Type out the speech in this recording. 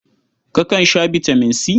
Kakan sha bitaman C?